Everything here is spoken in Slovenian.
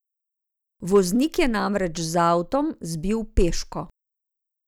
Voznik je namreč z avtom zbil peško.